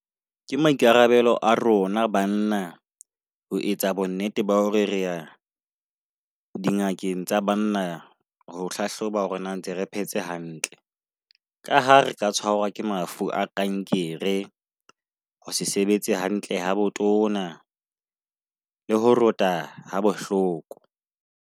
Ke maikarabelo a rona banna ho etsa bonnete ba hore re ya dingakeng tsa banna, ho hlahloba hore na ntse re phetse hantle. Ka ha re ka tshwarwa ke mafu a kankere, ho se sebetse hantle ha botona le ho rota ha bohloko.